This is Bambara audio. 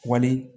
Wali